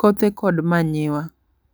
kothe kod manyiwa.